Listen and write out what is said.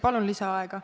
Palun lisaaega!